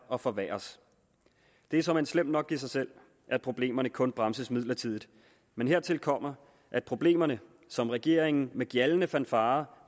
og forværres det er såmænd slemt nok i sig selv at problemerne kun bremses midlertidigt men hertil kommer at problemerne som regeringen med gjaldende fanfarer